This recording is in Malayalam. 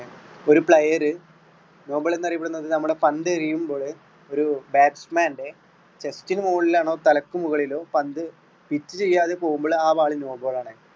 ഒരു player no ball എന്ന് അറിയപ്പെടുന്നത് നമ്മൾ പന്തെറിയുമ്പോൾ ഒരു batsman ന്റെ chest ന്മുകളിലോ തലയ്ക്കു മുകളിലോ പന്ത് pitch ചെയ്യാതെ പോകുമ്പോൾ ആ ball no ball ആണ്.